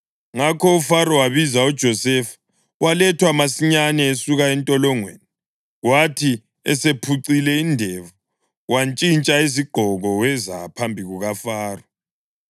Ngakho uFaro wabiza uJosefa, walethwa masinyane esuka entolongweni. Kwathi esephucile indevu, wantshintsha izigqoko weza phambi kukaFaro.